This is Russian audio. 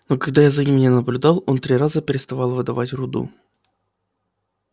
но когда я за ними не наблюдал он три раза переставал выдавать руду